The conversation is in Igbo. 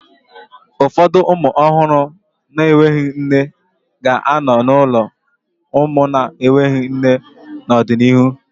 Ụfọdụ ụmụ ọhụrụ na-enweghị nne ga-anọ n'ụlọ ụmụ na-enweghị nne n'ọdịnihu